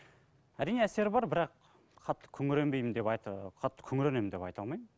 әрине әсері бар бірақ қатты күңіренбеймін деп қатты күңіренемін деп айта алмаймын